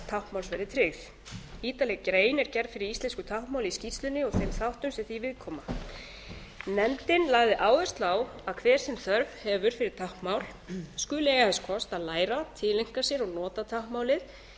táknmáls verði tryggð ítarleg grein er gerð fyrir íslensku táknmáli í skýrslunni og þeim þáttum sem því viðkoma nefndin lagði áherslu á að hver sem þörf hefur fyrir táknmál skuli eiga þess kost að læra það tileinka sér og nota táknmálið